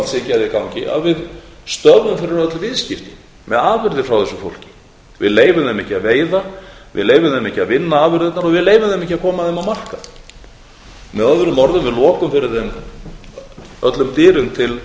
siðgæði í gangi að við stöðvum fyrir öll viðskipti með afurðir frá þessu fólki við leyfum þeim ekki að veiða við leyfum þeim ekki að vinna afurðirnar og við leyfum þeim ekki að koma þeim á markað að öðrum orðum við lokum fyrir þeim öllum dyrum til